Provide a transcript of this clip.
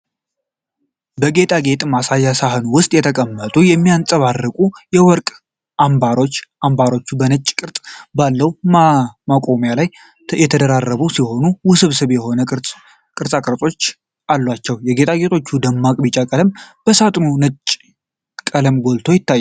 በጌጣጌጥ ማሳያ ሳጥን ውስጥ የተቀመጡ የሚያብረቀርቁ የወርቅ አምባሮች ። አምባሮቹ በነጭ ቅርጽ ባለው ማቆሚያ ላይ የተደራረቡ ሲሆን፣ ውስብስብ የሆኑ ቅርጾችና ቅጦች አሏቸው። የጌጣጌጦቹ ደማቅ ቢጫ ቀለም በሳጥኑ ነጭ ቀለም ጎልቶ ይታያል።